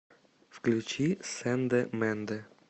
включи сенде менде